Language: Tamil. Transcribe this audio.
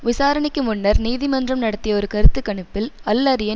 விசாரணைக்கு முன்னர் நீதிமன்றம் நடத்திய ஒரு கருத்து கணிப்பில் அல்அரியன்